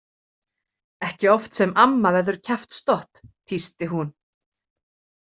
Ekki oft sem amma verður kjaftstopp, tísti hún.